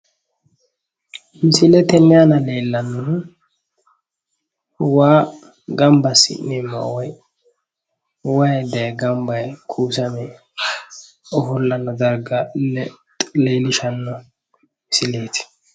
Misile tenne aana leellannohu waa gamba assi'neemmowa woy wayi daaye gamba yee kuusame ofollanno darga leellishshanno misileeti.